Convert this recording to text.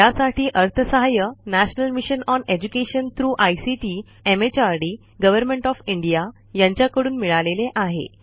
यासाठी अर्थसहाय्य national mission on education through ICT MHRD government of India यांच्याकडून मिळालेले आहे